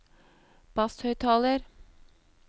basshøyttaler